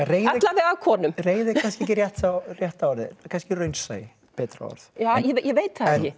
alla vega af konum reiði er kannski ekki rétta rétta orðið kannski er raunsæi betra orð ég veit það ekki